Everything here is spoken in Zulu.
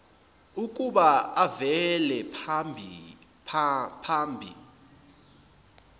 ukuba avele phambi